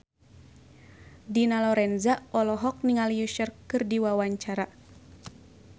Dina Lorenza olohok ningali Usher keur diwawancara